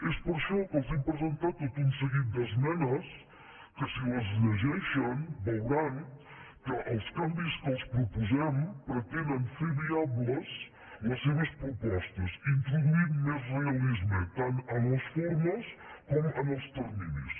és per això que els hem presentat tot un seguit d’es·menes que si les llegeixen veuran que els canvis que els proposem pretenen fer viables les seves propostes introduint·hi més realisme tant en les formes com en els terminis